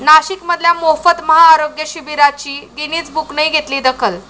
नाशिकमधल्या मोफत महाआरोग्य शिबिराची गिनीज बुकनंही घेतली दखल